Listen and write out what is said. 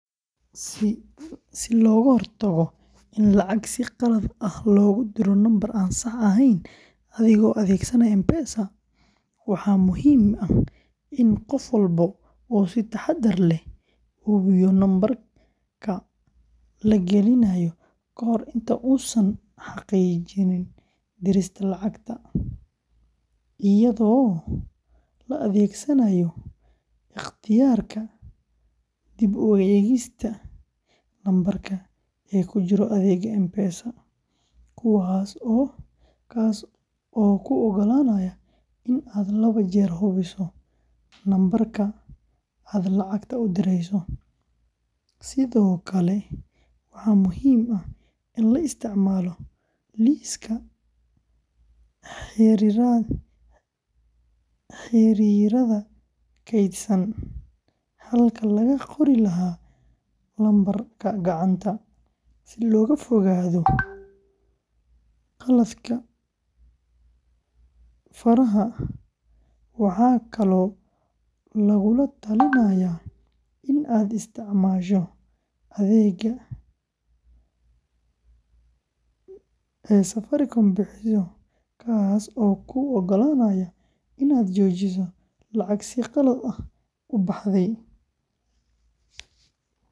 Si looga hortago in lacag si khalad ah loogu diro nambar aan sax ahayn adigoo adeegsanaya M-Pesa, waxaa muhiim ah in qof walba uu si taxaddar leh u hubiyo lambarka la gelinayo ka hor inta uusan xaqiijin dirista lacagta, iyadoo la adeegsanayo ikhtiyaarka dib-u-eegista lambarka ee ku jira adeegga M-Pesa, kaas oo kuu ogolaanaya in aad laba jeer hubiso lambarka aad lacagta u direyso; sidoo kale waxaa muhiim ah in la isticmaalo liiska xiriirada kaydsan halkii laga qori lahaa lambarka gacanta, si looga fogaado khaladaadka faraha; waxaa kaloo lagugula talinayaa in aad isticmaasho adeegga ee Safaricom bixiso kaas oo kuu oggolaanaya inaad joojiso lacag si khalad ah u baxday.